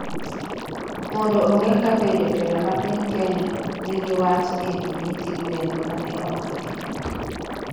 mondo ong'e kabe jotelo ma piny Kenya nigi wach e wi nyithi gwen mane omaki